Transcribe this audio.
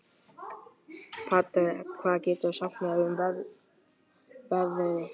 Patrek, hvað geturðu sagt mér um veðrið?